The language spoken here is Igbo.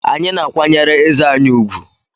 Anyị na-akwanyere eze anyị ùgwù